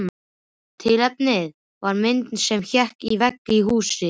Tilefnið var mynd sem hékk á vegg í húsi.